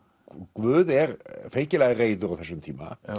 Guð er feikilega reiður á þessum tíma